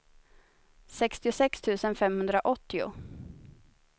sextiosex tusen femhundraåttio